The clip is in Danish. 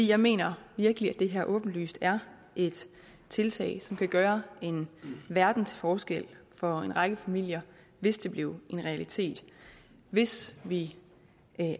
jeg mener virkelig at det her åbenlyst er et tiltag som kan gøre en verden til forskel for en række familier hvis det blev en realitet hvis vi